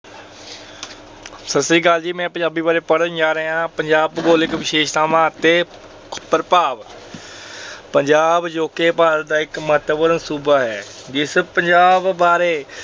ਸਤਿ ਸ਼੍ਰੀ ਅਕਾਲ ਜੀ। ਮੈਂ ਪੰਜਾਬੀ ਬਾਰੇ ਪੜ੍ਹਨ ਜਾ ਰਿਹਾ। ਪੰਜਾਬ ਦੀਆਂ ਭੂਗੋਲਿਕ ਵਿਸ਼ੇਸ਼ਤਾਵਾਂ ਅਤੇ ਪ੍ਰਭਾਵ ਪੰਜਾਬ ਅਜੋਕੇ ਭਾਰਤ ਦਾ ਇੱਕ ਮਹੱਤਵਪੂਰਨ ਸੂਬਾ ਹੈ। ਜਿਸ ਪੰਜਾਬ ਬਾਰੇ